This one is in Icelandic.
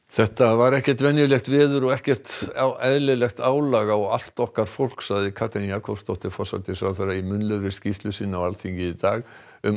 þetta var ekkert venjulegt veður og ekkert eðlilegt álag á allt okkar fólk sagði Katrín Jakobsdóttir forsætisráðherra í munnlegri skýrslu sinni á Alþingi í dag um